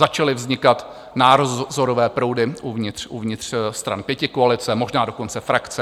Začaly vznikat názorové proudy uvnitř stran pětikoalice, možná dokonce frakce.